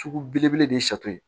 Sugu belebele de ye sato ye